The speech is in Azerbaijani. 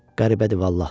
Qəribədir vallah!